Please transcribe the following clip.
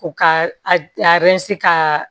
U ka a ka